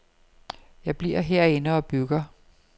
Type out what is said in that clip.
Jeg bliver herinde og bygger.